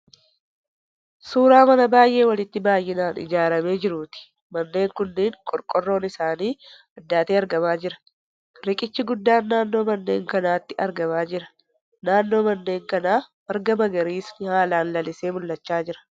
Suuraa mana baay'ee walitti dhiyeennaan ijaaramee jiruuti. Manneen kunneen qorqorroon isaanii addaatee argamaa jira. Riqichi guddaan naannoo manneen kanaatti argamaa jira. Naannoo manneen kanaa marga magariisni haalaan lalisee mul'achaa jira.